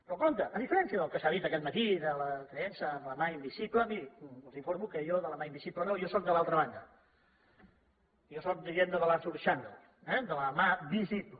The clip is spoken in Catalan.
però compte a diferència del que s’ha dit aquest matí de la creença en la mà invisible mirin els informo que jo de la mà invisible no jo sóc de l’altra banda jo sóc diguem ne de l’arthur chandler eh de la mà visible